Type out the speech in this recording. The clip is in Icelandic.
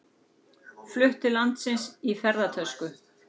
Flutt til landsins í ferðatösku